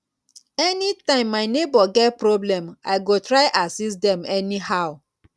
anytime my neighbor get problem i go try assist dem anyhow